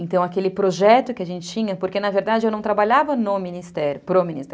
Então, aquele projeto que a gente tinha... Porque, na verdade, eu não trabalhava no Ministério, para o Ministério.